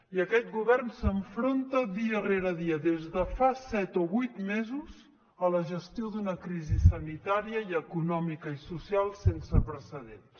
i aquest govern s’enfronta dia rere dia des de fa set o vuit mesos a la gestió d’una crisi sanitària i econòmica i social sense precedents